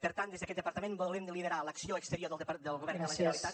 per tant des d’aquest departament volem liderar l’acció exterior del govern de la generalitat